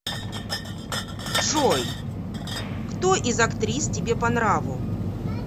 джой кто из актрис тебе по нраву